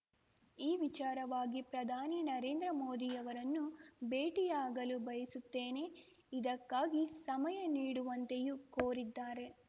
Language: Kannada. ಈ ವಿಚಾರವಾಗಿ ಪ್ರಧಾನಿ ನರೇಂದ್ರ ಮೋದಿಯವರನ್ನು ಭೇಟಿಯಾಗಲು ಬಯಸುತ್ತೇನೆ ಇದಕ್ಕಾಗಿ ಸಮಯ ನೀಡುವಂತೆಯೂ ಕೋರಿದ್ದಾರೆ